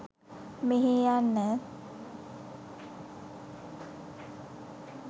මෙහේ යන්න.